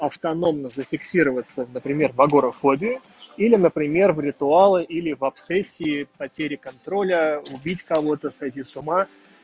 автономно зафиксироваться например в агорафобии или например в ритуалы или в обсессии потери контроля убить кого-то сойти с ума